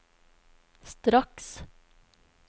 straks